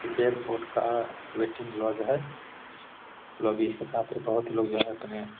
ये एयरपोर्ट का waiting lounge है। लोग बोहत लोग जो हैं अपने --